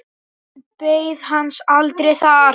Hann beið hans aldrei þar.